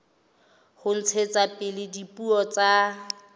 ho ntshetsa pele dipuo tsa